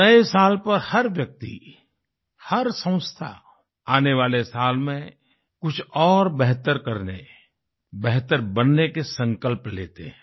नए साल पर हर व्यक्ति हर संस्था आने वाले साल में कुछ और बेहतर करने बेहतर बनने के संकल्प लेते हैं